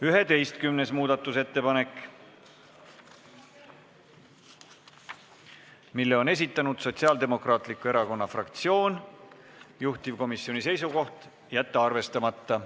11. muudatusettepanek, mille on esitanud Sotsiaaldemokraatliku Erakonna fraktsioon, juhtivkomisjoni seisukoht: jätta arvestamata.